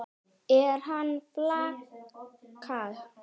Er hann flaska?